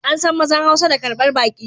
An san mazan hausa da karbar baki